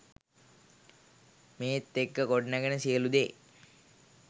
මේත් එක්ක ගොඩනැගෙන සියලු දේ